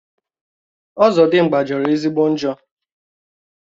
Ọzọdimgbà jọrọ ezigbo njọ